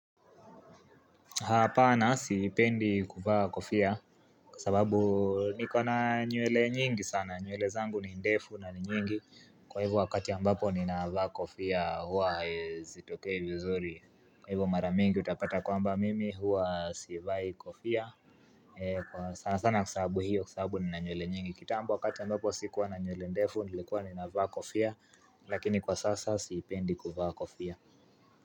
Hapana siipendi kuvaa kofia kwa sababu niko na nywele nyingi sana nywele zangu ni ndefu na nyingi kwa hivyo wakati ambapo ni na vaa kofia huwa zitokei vizuri Kwa hivyo maramingi utapata kwa mba mimi huwa sivai kofia e kwa sana sana kusahabu hiyo kusahabu ni na nywele nyingi kitambo wakati ambapo si kuwa na nywele ndefu nilikuwa ni na vaa kofia lakini kwa sasa siipendi kuvaa kofia.